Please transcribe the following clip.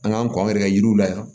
An k'an kɔ an yɛrɛ ka yiriw la yan